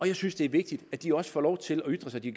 jeg synes det er vigtigt at de også får lov til at ytre sig de